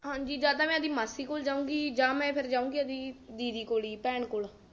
ਹਾਂਜੀ ਜਾਂ ਤਾਂ ਇਹਦੀ ਮਾਸੀ ਕੋਲ ਜਾਉਗੀ ਜਾਂ ਮੈਂ ਜਾਉਗੀ ਇਹਦੀ ਦੀਦੀ ਕੋਲ ਭੈਣ ਕੋਲ